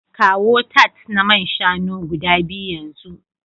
Kawo tarts na man shanu guda biyu yanzu